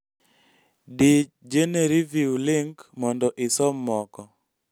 dii genereview link mondo isom moko